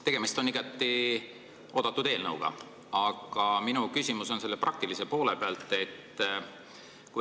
Tegemist on igati oodatud eelnõuga, aga minu küsimus on praktilise poole pealt.